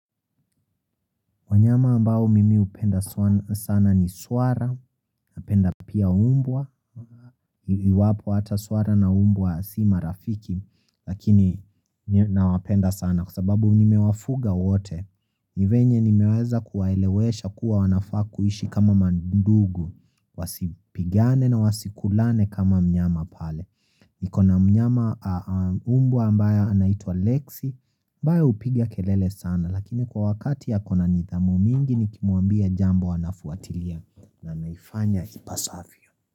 Wanyama ambao mimi upenda sana ni swara napenda pia umbwa iwapo hata swara na umbwa si marafiki lakini nawapenda sana kwasababu nimewafuga wote nivenye nimeweza kuwaelewesha kuwa wanafaa kuishi kama mandugu wasipigane na wasikulane kama mnyama pale niko na mnyama umbwa ambaye anaitwa Lexi mbaya upigia kelele sana lakini kwa wakati ako na nidhamu mingi nikimuambia jambo anafuatilia na naifanya ipasavyo.